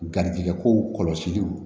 Garijɛgɛkow kɔlɔsi